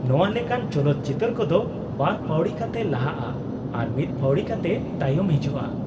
ᱱᱚᱶᱟ ᱞᱮᱠᱟᱱ ᱪᱚᱞᱚᱛ ᱪᱤᱛᱟᱹᱨ ᱠᱚᱫᱚ ᱵᱟᱨ ᱯᱟᱹᱣᱲᱤ ᱠᱟᱛᱮ ᱞᱟᱦᱟᱜᱼᱟ ᱟᱨ ᱢᱤᱫ ᱯᱟᱹᱣᱲᱤ ᱠᱟᱛᱮ ᱛᱟᱭᱚᱢ ᱦᱤᱡᱩᱜᱼᱟ ᱾